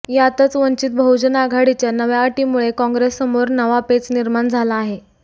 यातच वंचित बहुजन आघाडीच्या नव्या अटीमुळे काँग्रेससमोर नवा पेच निर्माण झाला आहे